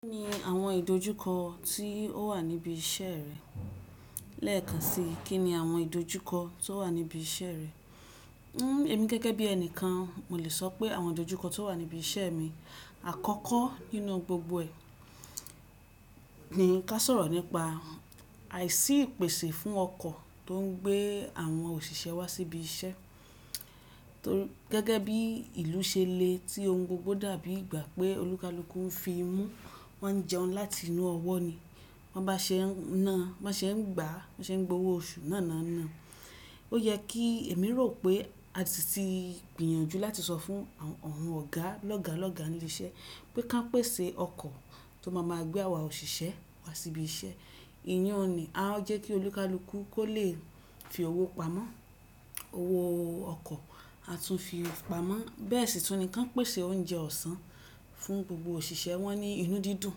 Kí ni àwọn ìdojúkọ tí ó wà níbi iṣẹ́ rẹ? Lẹ́ẹ̀kan si, kí ni àwọn ìdojúkọ tó wà níbi iṣẹ́ rẹ? Emi gẹ́gẹ́ bí ẹnìkan, mo lè sọ pé àwọn ìdojúkọ tó wà níbi iṣẹ́ mi àkọ́kọ́ nínú gbogbo ẹ ni ká sọ̀rọ̀ nípa àìsí ìpèsè fún ọkọ̀ tó ń gbé àwọn òṣìṣẹ́ wá sí ibi iṣẹ́. Gẹ́gẹ́ bí ìlú ṣe le tí ohun gbogbo dàbí ìgbà pé olúkalúkù ń fi mú, wọ́n ń jẹun láti inú ọwọ́ ni. Wọ́n bá ṣe ń ná, bá ṣe ń gbà, bá ṣe ń gbowó oṣù náà ná náà. Ó yẹ kí èmi rò pé a si ti gbìyànjú láti sọ fún àwọn ọ̀gá lọ́ga lọ́ga ní ilé iṣẹ́ pé ká pèsè ọkọ̀ tó máa ma gbé àwa òṣìṣẹ́ wá sí ibi iṣẹ́. Ìyí un nì, a jẹ́ kí olúkalúkù kó lè fi owó pamọ́. Owó ọkọ̀ a tún fi pamọ́. Bẹ́ẹ̀ sì tún ni kán pèsè oúnjẹ ọ̀sán fún gbogbo òṣìṣẹ́ wọ́n ní inú dídùn.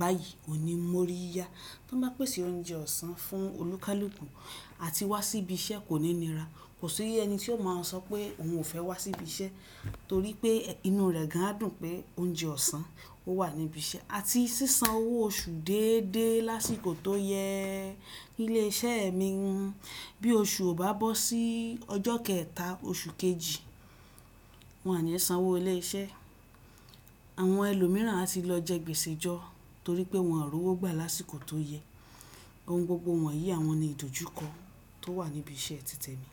Báyìí òun ní mo ríi ya. Tí wọ́n bá pèsè oúnjẹ ọ̀sán fún olúkalúkù àti wá sí ibi iṣẹ́ kò ní nira. Kò sí ẹni tí ó máa sọ pé òun ò fẹ́ wá sí ibi iṣẹ́ torí pé inú rẹ̀ gan á dùn pé oúnjẹ ọ̀sán ó wà níbi iṣẹ́. A ti sì san owó oṣù déédéé lásìkò tó yẹ. Ilé iṣẹ́ mi hun. Bí oṣù ò bá bọ́ sí ọjọ́ kẹẹ̀ta oṣù kejì, wọn o ni san owó ilé iṣẹ́. Àwọn ẹlòmíràn a ti lọ jẹ gbèsèjọ́ torí pé wọn ò rí owó gbà lásìkò tó yẹ. Ohun gbogbo wọ̀nyí àwọn ni ìdojúkọ tó wà níbi iṣẹ́ titẹ̀ mi.